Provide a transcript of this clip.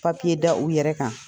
da u yɛrɛ kan.